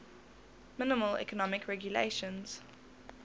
minimal economic regulations